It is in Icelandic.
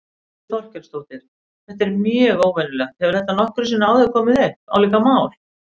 Þórhildur Þorkelsdóttir: Þetta er mjög óvenjulegt, hefur þetta nokkru sinni áður komið upp, álíka mál?